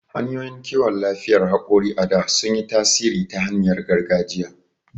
Hanyoyin kiwon lafiyar hakori a da sun yi tasiri ta hanyar gargajiya..